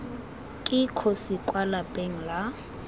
ke kgosi kwa lapeng la